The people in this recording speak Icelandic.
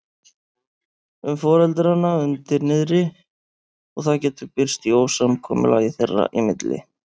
um foreldrana undir niðri og það getur birst í ósamkomulagi þeirra í milli.